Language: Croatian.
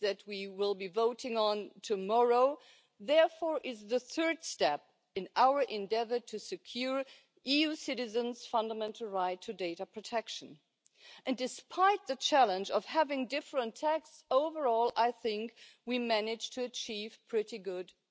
Poštovana predsjedavajuća, Opća uredba o zaštiti podataka, iako je poslovnim subjektima nametnula nove obveze i ograničenja, dala je pojedincima važne garancije protiv bezakonja koje je nažalost znalo vladati u tom području.